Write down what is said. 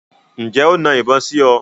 Ǹjẹ́ o na ìbọn sí ọ?